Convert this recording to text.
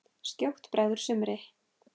Skjótt bregður sumri.